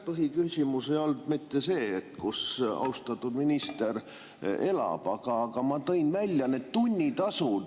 Põhiküsimus ei olnud mitte see, kus austatud minister elab, vaid ma tõin välja need tunnitasud …